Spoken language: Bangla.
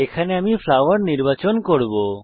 এখানে আমি ফ্লাওয়ার নির্বাচন করব